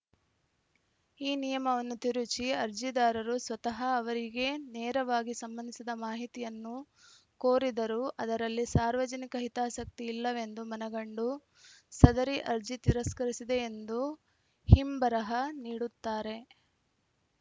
ಈ ನಿಯಮವನ್ನು ತಿರುಚಿ ಅರ್ಜಿದಾರರು ಸ್ವತಃ ಅವರಿಗೇ ನೇರವಾಗಿ ಸಂಬಂಧಿಸಿದ ಮಾಹಿತಿಯನ್ನು ಕೋರಿದರೂ ಅದರಲ್ಲಿ ಸಾರ್ವಜನಿಕ ಹಿತಾಸಕ್ತಿ ಇಲ್ಲವೆಂದು ಮನಗಂಡು ಸದರಿ ಅರ್ಜಿ ತಿರಸ್ಕರಿಸಿದೆ ಎಂದು ಹಿಂಬರಹ ನೀಡುತ್ತಾರೆ